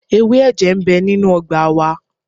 Ewé ẹ̀jẹ̀ ń bẹ nínú ọgbà wa.